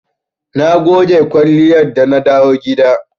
Na goge kwalliyar da na dawo gida.